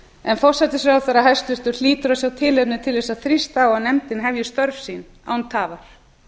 en forsætisráðherra hæstvirtur hlýtur að sjá tilefni til þess að þrýsta á að nefndin hefji störf sín án tafar